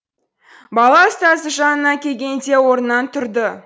бала ұстазы жанына келгенде орнынан тұрды